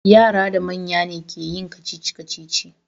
Yara da manya ne ke yin kacici-kacici.